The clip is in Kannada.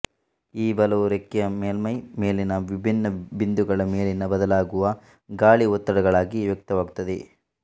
ಈ ಬಲವು ರೆಕ್ಕೆಯ ಮೇಲ್ಮೈ ಮೇಲಿನ ವಿಭಿನ್ನ ಬಿಂದುಗಳ ಮೇಲಿನ ಬದಲಾಗುವ ಗಾಳಿ ಒತ್ತಡಗಳಾಗಿ ವ್ಯಕ್ತವಾಗುತ್ತದೆ